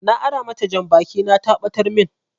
Na ara mata janbaki na ta ɓatar min